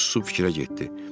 Sonra o susub fikrə getdi.